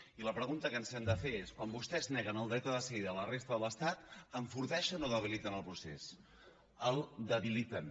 i la pregunta que ens hem de fer és quan vostès neguen el dret a decidir de la resta de l’estat enforteixen o debiliten el procés el debiliten